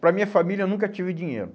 Para minha família eu nunca tive dinheiro.